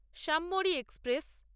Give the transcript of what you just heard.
স্যমরি express